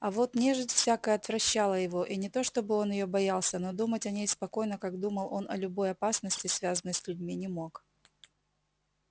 а вот нежить всякая отвращала его и не то чтобы он её боялся но думать о ней спокойно как думал он о любой опасности связанной с людьми не мог